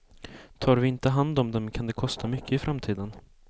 Tar vi inte hand om dem kan det kosta mycket i framtiden.